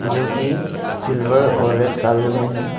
जो कि सिल्वर और रेड कलर में है।